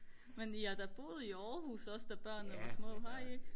men I har da boet i Aarhus også da børnene var små har I ikke